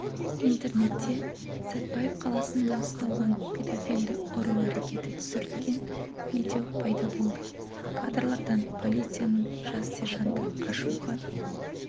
интернетте сәтбаев қаласында ұсталған педофилді ұру әрекеті түсірілген видео пайда болды кадрлардан полицияның жас сержанты ашуға